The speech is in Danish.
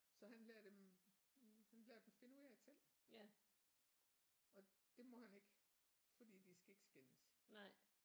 Så han lader dem lader dem finde ud af det selv og det må han ikke fordi de skal ikke skændes